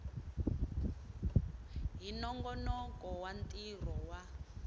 hi nongonoko wa ntirho wa